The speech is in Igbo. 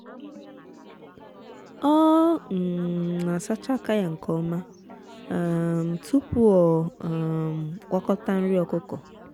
ọ um na-asacha aka ya nke ọma um tupu ọ um gwakọta nri ọkụkọ.